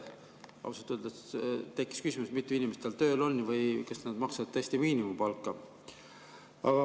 Ausalt öeldes tekkis küsimus, mitu inimest tal tööl on või kas nad maksavad tõesti miinimumpalka.